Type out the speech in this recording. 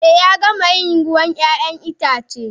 Eh Ya gama yin ruwan 'ya'yan itace.